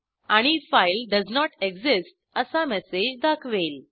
आणि file does not exist असा message दाखवेल